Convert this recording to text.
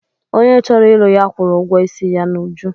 Onye chọrọ ịlụ ya kwụrụ ụgwọ isi ya n'uju.